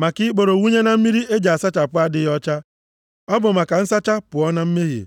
maka ikporo wụnye na mmiri e ji asachapụ adịghị ọcha. Ọ bụ maka nsacha pụọ na mmehie.